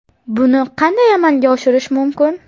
Buni qanday amalga oshirish mumkin?